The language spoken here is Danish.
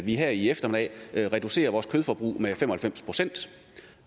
vi her i eftermiddag reducerer vores kødforbrug med fem og halvfems procent